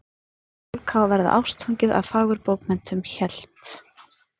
Fólk á að verða ástfangið af fagurbókmenntum hélt